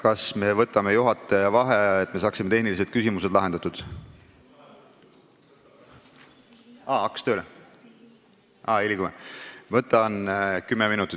Kas me võtame juhataja vaheaja, et saaks tehnilised küsimused lahendatud?